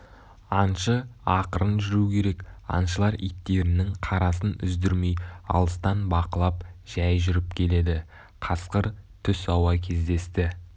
аңшы ақырын жүру керек аңшылар иттерінің қарасын үздірмей алыстан бақылап жай жүріп келеді қасқыр түс ауа кездесті